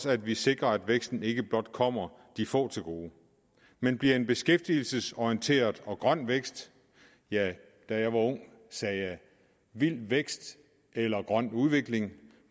at vi sikrer at væksten ikke blot kommer de få til gode men bliver en beskæftigelsesorienteret og grøn vækst ja da jeg var ung sagde jeg vild vækst eller grøn udvikling